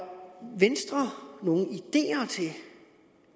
venstre nogen